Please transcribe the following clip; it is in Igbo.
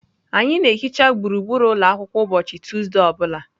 Anyị na-ehicha gburugburu ụlọ akwụkwọ ụbọchị Tuesday ọ bụla.